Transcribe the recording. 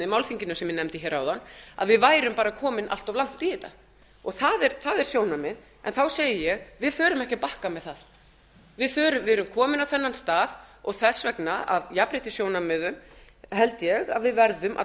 málþinginu sem ég nefndi áðan að við værum bara komin allt of langt í þetta og það er sjónarmið en þá segi ég við förum ekki að bakka með það við erum komin á þennan stað og þess vegna að jafnréttissjónarmið held ég að við verðum að